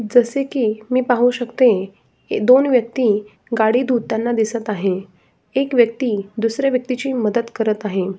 जसं की मी पाहू शकते दोन व्यक्ति गाडी धुताना दिसत आहे एक व्यक्ति दुसऱ्या व्यक्तिची मदत करत आहे.